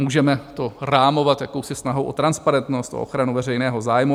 Můžeme to rámovat jakousi snahou o transparentnost, o ochranu veřejného zájmu.